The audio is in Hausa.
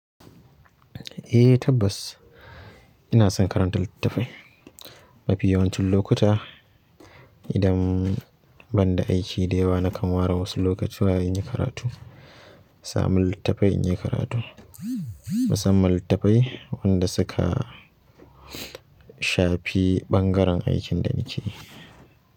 Eh tabbas ina son karanta littatafai. Mafi ya wancin lokuta idan banda aiki da yawa nakan ware wasu lokuta in yi karatu, sami littafai in yi karatu. Musamman littafai wanda suka shafi ɓangaren aikin da nake yi.